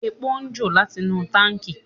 Epo ń jò láti inú táǹkì.